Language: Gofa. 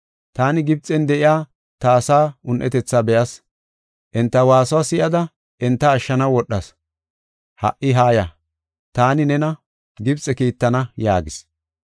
Taani Gibxen de7iya ta asaa un7etetha be7as. Enta waasuwa si7ada enta ashshanaw wodhas. Ha77i haaya! Taani nena Gibxe kiittana’ yaagis.